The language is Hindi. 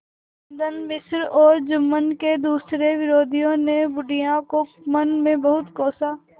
रामधन मिश्र और जुम्मन के दूसरे विरोधियों ने बुढ़िया को मन में बहुत कोसा